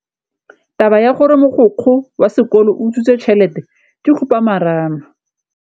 Taba ya gore mogokgo wa sekolo o utswitse tšhelete ke khupamarama.